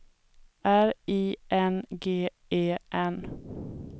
R I N G E N